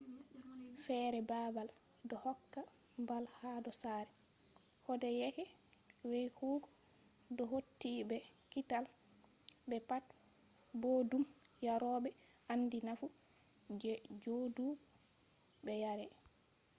fere babal do hokka mbal hado sare. kodeyeke weykugo do hauti be kiital be pat boddum yarobe andi nafu je jodugo be yarai